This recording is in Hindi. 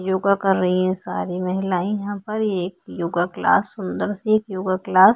योगा कर रही है सारी महिलाए यहाँ पर एक योगा क्लास सुन्दर सी एक योगा क्लास --